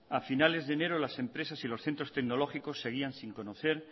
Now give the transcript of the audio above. a finales de enero las empresas y los centros tecnológicos seguían sin conocer